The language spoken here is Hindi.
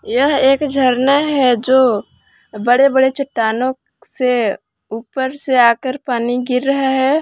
यह एक झरना है जो बड़े बड़े चट्टानों से ऊपर से आकर पानी गिर रहा है।